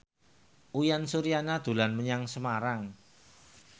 Uyan Suryana dolan menyang Semarang